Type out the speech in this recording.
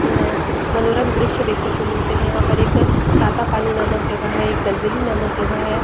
यहाँ मनोरम दृश्य देखने को मिलते है यहाँ पर एक तातापानी नामक जगह है एक दलदली नामक जगह है।